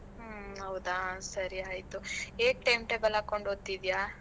ಹ್ಮ ಹೌದಾ, ಸರಿ ಆಯ್ತು. ಹೇಗ್ time table ಹಾಕೊಂಡ್ ಓದ್ತಿದ್ದೀಯಾ?